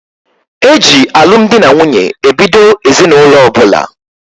E ji alụ m di na nwunye ebido ezinụlọ ọbụla.